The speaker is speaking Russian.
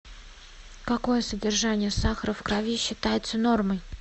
какое содержание сахара в крови считается нормой